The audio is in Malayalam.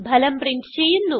ഫലം പ്രിന്റ് ചെയ്യുന്നു